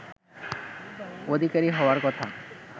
অধিকারী হওয়ার কথা